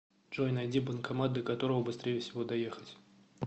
джой найди банкомат до которого быстрее всего доехать